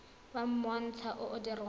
wa monontsha o o dirwang